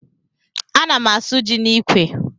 A ná m asụ jị n'ikwe.